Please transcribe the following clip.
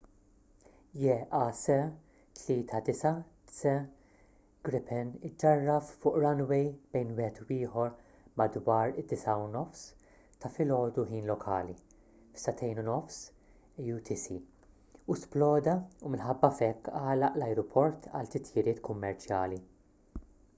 jas 39c gripen iġġarraf fuq runway bejn wieħed u ieħor madwar id-9.30 am ħin lokali 0230 utc u sploda u minħabba f'hekk għalaq l-ajruport għal titjiriet kummerċjali